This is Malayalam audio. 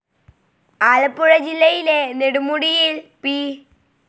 ആലപ്പുഴ ജില്ലയിലെ നെടുമുടിയിൽ പി.